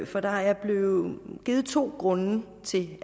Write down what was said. for der er blevet givet to grunde til